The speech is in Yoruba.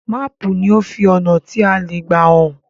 Máàpù ní o fí ọnà tí a lẹ gbà hàn